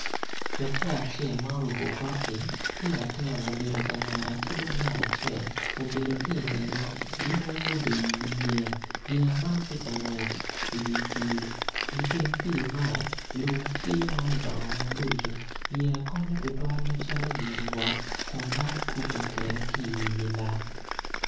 Laco acel ma oruku koti ki latin obedo ka ngete ki dong ngat acel obedo ki ingegi gin weng gubedo idye yeya man ti ka ngwec idi pii i teng pii man lum tye ma udongo maboco yeya konyo tutwal macalo gin wot kun dano kope kede ki idye nam